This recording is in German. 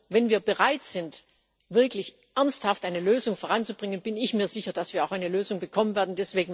Wenn wir bereit sind, wirklich ernsthaft eine Lösung voranzubringen, bin ich mir sicher, dass wir auch eine Lösung bekommen werden.